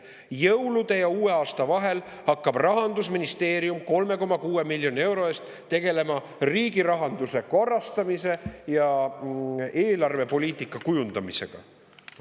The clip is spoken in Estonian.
Jõulude ja uue aasta vahel hakkab Rahandusministeerium 3,6 miljoni euro eest tegelema riigirahanduse korrastamise ja eelarvepoliitika kujundamisega.